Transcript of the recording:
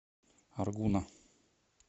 аргуна